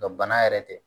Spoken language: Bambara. bana yɛrɛ tɛ